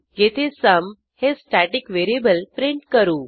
येथे सुम हे static variable print करू